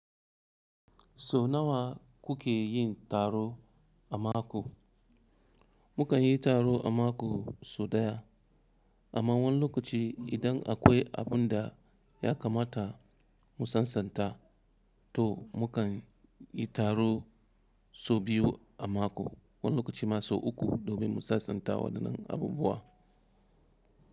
So nawa kuke yin taro a mako? Mukan yi taro a mako so ɗaya, amma wani lokaci idan akwai abun da ya kamata mu sasanta, to munkan yi taro so biyu a mako wani lokaci ma so uku domin mu sasanta waɗannan abubuwa.